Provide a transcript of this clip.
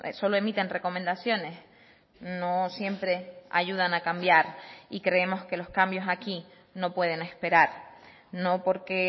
solo emiten recomendaciones no siempre ayudan a cambiar y creemos que los cambios aquí no pueden esperar no porque